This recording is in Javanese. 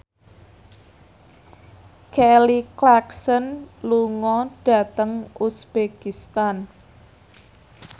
Kelly Clarkson lunga dhateng uzbekistan